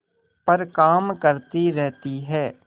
पर काम करती रहती है